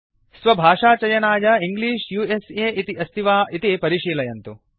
स्वभाषाचयनाय English उस इति अस्ति वा इति परिशीलयन्तु